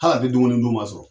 Hal'a tɛ dumuni dun masɔrɔ